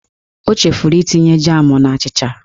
O chefuru itinye jam n'achịcha